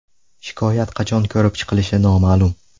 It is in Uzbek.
Shikoyat qachon ko‘rib chiqilishi noma’lum.